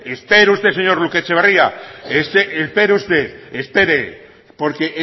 espere usted señor uribe etxebarria espere usted porque